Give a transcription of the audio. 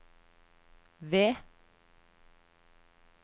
V